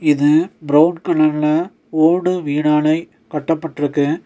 இது ப்ரவுன் கலர்ல ஓடு வீடாலை கட்டப்பட்ருக்கு.